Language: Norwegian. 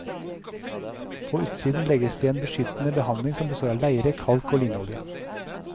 På utsiden legges det en beskyttende behandling som består av leire, kalk og linolje.